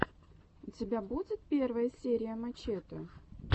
у тебя будет первая серия мачете